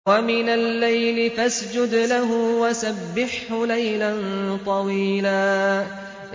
وَمِنَ اللَّيْلِ فَاسْجُدْ لَهُ وَسَبِّحْهُ لَيْلًا طَوِيلًا